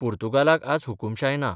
पोर्तुगालाक आज हुकूमशाय ना.